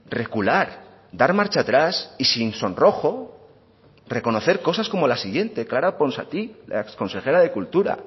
recular dar marcha atrás y sin sonrojo reconocer cosas como la siguiente clara ponsatí la exconsejera de cultura